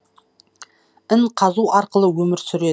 ін қазу арқылы өмір сүреді